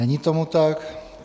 Není tomu tak.